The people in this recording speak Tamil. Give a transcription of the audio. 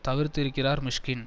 தவிர்த்திருக்கிறார் மிஷ்கின்